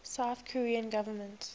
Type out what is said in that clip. south korean government